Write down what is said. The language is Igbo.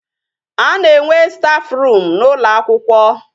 A na-enwe staf room n'ụlọ akwụkwọ.